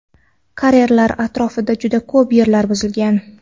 Karerlar atrofida juda ko‘p yerlar buzilgan.